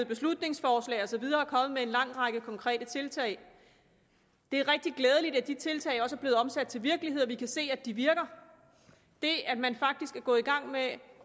beslutningsforslag og så videre og er kommet med en lang række konkrete tiltag det er rigtig glædeligt at de tiltag også er blevet omsat til virkelighed og at vi kan se at de virker det at man faktisk er gået i gang med at